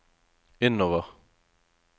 innover